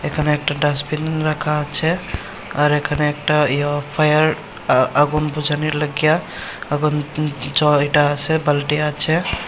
এখানে একটা ডাস্টবিন রাখা আছে আর এখানে একটা ইয়ে ফায়ার আ আগুন বুঝানোর লইগ্যা আগুন জ এটা আছে বালটি আছে।